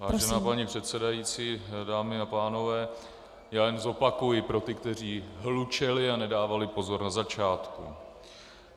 Vážená paní předsedající, dámy a pánové, já jen zopakuji pro ty, kteří hlučeli a nedávali pozor na začátku.